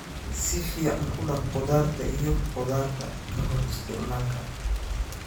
Si fiican u dhaq khudaarta iyo khudaarta ka hor isticmaalka.